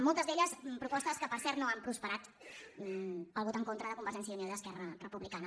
moltes d’elles propostes que per cert no han prosperat pel vot en contra de convergència i unió i d’esquerra republicana